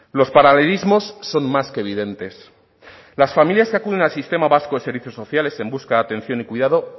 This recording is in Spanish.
los paralelismos son más que evidentes las familias que acuden al sistema vasco de servicios sociales en busca atención y cuidado